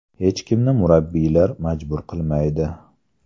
Hech kimni murabbiylar majbur qilmaydi.